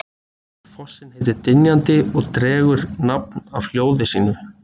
Fossinn heitir Dynjandi og dregur nafn af hljóði sínu.